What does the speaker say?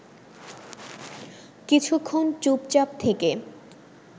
কিছুক্ষণ চুপচাপ থেকে